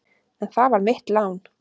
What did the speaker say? En það var mitt lán.